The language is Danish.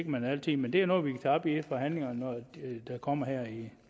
man altid men det er noget vi kan tage op i forhandlingerne der kommer her i